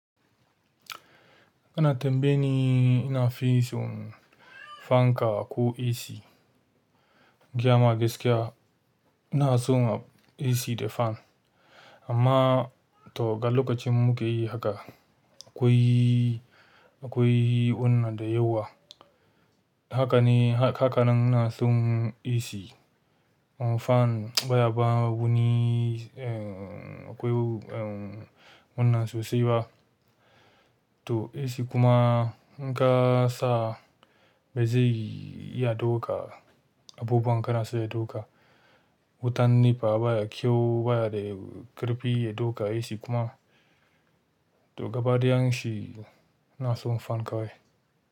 Ana tambaye ni ina fi son fanka ko AC. Gaya ma gaskiya ina son AC da fan. Amma to ga lokaci mukai haka akwai akwai wannan da yawa. Haka ne, haka nan ina son AC or fan baya ba wuni, eh akwai, eh wannan sosai ba. To AC kuma in ka sa bai je iya ɗauka abubuwa kanasa ya ɗauka. Wutan nefa baya kyau baya da ƙarfi ya ɗauka AC kuma. To gaba ɗayan shi ina son fan kawai.